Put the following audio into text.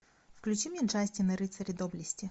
включи мне джастин и рыцари доблести